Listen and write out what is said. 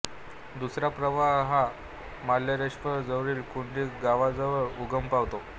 दुसरा प्रवाह हा मार्लेश्वर जवळील कुंडी गावाजवळ उगम पावतो